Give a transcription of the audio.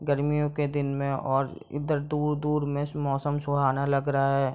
गर्मियों के दिन में और इधर दूर-दूर मे इस मौसम सुहाना लग रहा है।